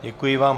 Děkuji vám.